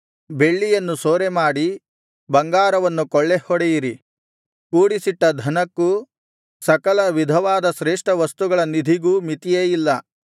ಬೆಳ್ಳಿಯನ್ನು ಸೂರೆಮಾಡಿರಿ ಬಂಗಾರವನ್ನು ಕೊಳ್ಳೆ ಹೊಡೆಯಿರಿ ಕೂಡಿಸಿಟ್ಟ ಧನಕ್ಕೂ ಸಕಲ ವಿಧವಾದ ಶ್ರೇಷ್ಠವಸ್ತುಗಳ ನಿಧಿಗೂ ಮಿತಿಯೇ ಇಲ್ಲ